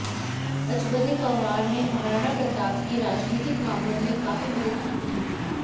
अजबदे पंवार ने महाराणा प्रताप की राजनीतिक मामलों में काफी मदद की थी